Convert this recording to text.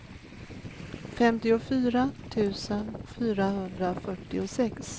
femtiofyra tusen fyrahundrafyrtiosex